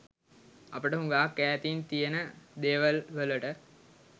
අපට හුඟාක් ඈතින් තියෙන දේවල් වලට